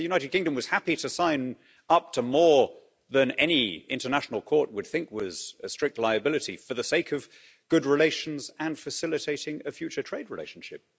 The United Kingdom was happy to sign up to more than any international court would think was a strict liability for the sake of good relations and facilitating a future trade relationship.